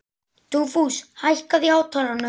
Dugfús, hækkaðu í hátalaranum.